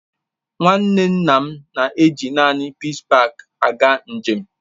Nwanne nna m na èji naanị Peace Paak aga njem